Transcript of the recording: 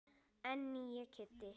En nýi Kiddi.